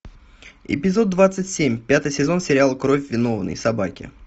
эпизод двадцать семь пятый сезон сериал кровь виновной собаки